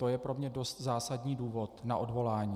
To je pro mne dost zásadní důvod na odvolání.